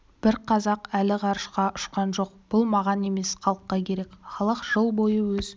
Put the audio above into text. бір қазақ әлі ғарышқа ұшқан жоқ бұл маған емес халыққа керек халық жыл бойы өз